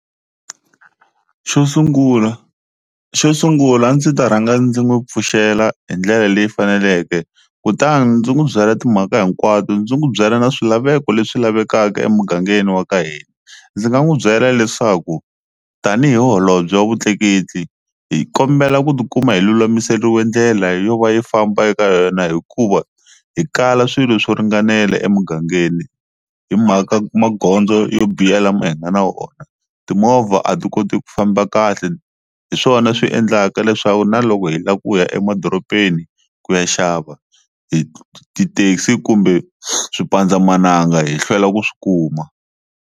Xo sungula xo sungula a ndzi ta rhanga ndzi n'wi pfuxela hi ndlela leyi faneleke kutani ndzi n'wi byela timhaka hinkwato ndzi n'wi byela na swilaveko leswi lavekaka emugangeni wa ka hina, ndzi nga n'wi byela leswaku tanihi holobye wa vutleketli hi kombela ku tikuma hi lulamiseriwe ndlela yo va yi famba eka yona hikuva hi kala swilo swo ringanela emugangeni hi mhaka magondzo yo biha lama hi nga na wona, timovha a ti koti ku famba kahle hi swona swi endlaka leswaku na loko hi lava kuya emadorobeni ku ya xava hi tithekisi kumbe xipandzamananga hi hlwela ku swi kuma.